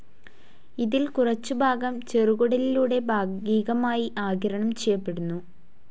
ഇതിൽ കുറച്ചുഭാഗം ചെറുകുടലിലൂടെ ഭാഗികമായി ആഗിരണം ചെയ്യപ്പെടുന്നു.